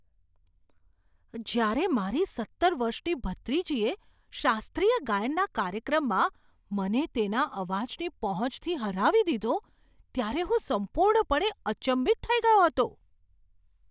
જ્યારે મારી સત્તર વર્ષની ભત્રીજીએ શાસ્ત્રીય ગાયનનાં કાર્યક્રમમાં મને તેના અવાજની પહોંચથી હરાવી દીધો ત્યારે હું સંપૂર્ણપણે અચંબિત થઈ ગયો હતો.